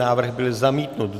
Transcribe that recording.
Návrh byl zamítnut.